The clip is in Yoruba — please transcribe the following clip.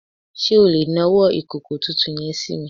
Sé o lè nawọ́ ìkòkò tuntun yen sími